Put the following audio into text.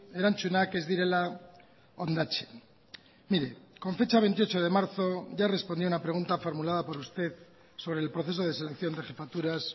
erantzunak ez direla hondatzen mire con fecha veintiocho de marzo ya respondía una pregunta formulada por usted sobre el proceso de selección de jefaturas